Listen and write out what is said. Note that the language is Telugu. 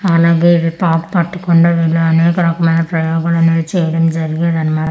ఆలాగే ఇవి పాక్ పట్టకుండా ఇలాగే అనేక రకం అయిన ప్రయోగాలు అనేవి చేయడం జరిగేది అన్న--